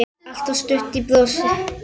Alltaf stutt í brosið.